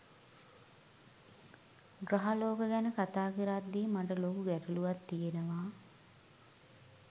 ග්‍රහලෝක ගැන කතා කරද්දි මට ලොකු ගැටලුවක් තියෙනවා.